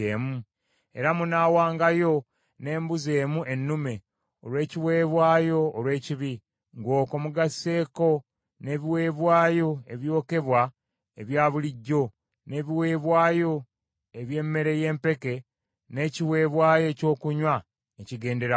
Era munaawangayo n’embuzi emu ennume olw’ekiweebwayo olw’ekibi, ng’okwo mugasseeko n’ebiweebwayo ebyokebwa ebya bulijjo n’ebiweebwayo eby’emmere y’empeke n’ekiweebwayo ekyokunywa ekigenderako.